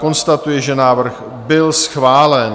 Konstatuji, že návrh byl schválen.